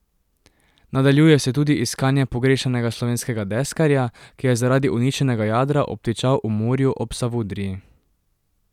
Nadaljuje se tudi iskanje pogrešanega slovenskega deskarja, ki je zaradi uničenega jadra obtičal v morju ob Savudriji.